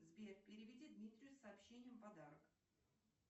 сбер переведи дмитрию с сообщением подарок